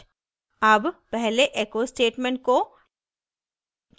अब पहले echo statement को